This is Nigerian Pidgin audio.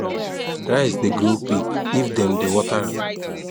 rice dey grow quick if dem dey water am